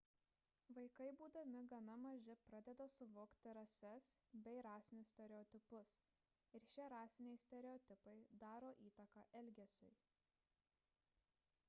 vaikai būdami gana maži pradeda suvokti rases bei rasinius stereotipus ir šie rasiniai stereotipai daro įtaką elgesiui